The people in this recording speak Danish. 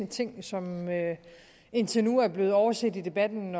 ting som indtil nu er blevet overset i debatten